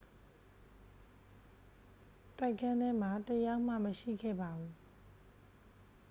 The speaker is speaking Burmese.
တိုက်ခန်းထဲမှာ တစ် ယောက်မှ မရှိခဲ့ပါဘူး